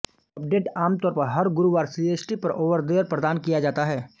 update आमतौर पर हर गुरुवार सीएसटी पर ओवरदएयर प्रदान किया जाता है